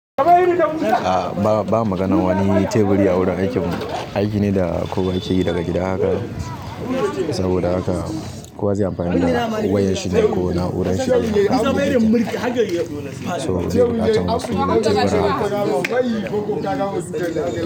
A ba, ba magana wani teburi a wurin aikin, aiki ne da kowa yake yi daga gida haka. Saboda haka kowa zai amfani da wayar shi da ko na'urar shi. So bai buƙatar wasu tebura haka.